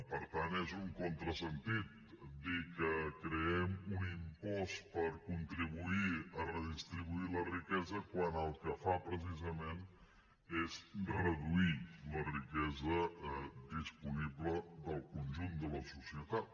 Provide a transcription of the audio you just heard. per tant és un contrasentit dir que creem un impost per contribuir a redistribuir la riquesa quan el que fa precisament és reduir la riquesa disponible del conjunt de la societat